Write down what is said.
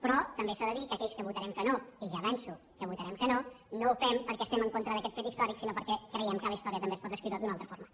però també s’ha de dir que aquells que votarem que no i ja avanço que votarem que no no ho fem perquè estem en contra d’aquest fet històric sinó perquè creiem que la història també es pot escriure d’una altra forma